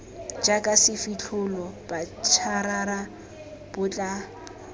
jaka sefitlholo botšarara bo tla